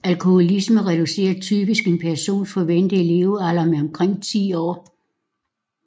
Alkoholisme reducerer typisk en persons forventede levealder med omkring ti år